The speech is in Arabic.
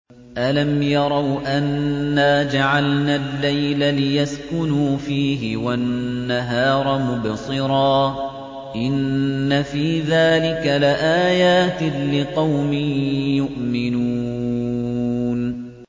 أَلَمْ يَرَوْا أَنَّا جَعَلْنَا اللَّيْلَ لِيَسْكُنُوا فِيهِ وَالنَّهَارَ مُبْصِرًا ۚ إِنَّ فِي ذَٰلِكَ لَآيَاتٍ لِّقَوْمٍ يُؤْمِنُونَ